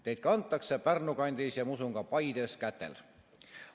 Teid kantakse Pärnu kandis – ja ma usun, et ka Paides – kätel.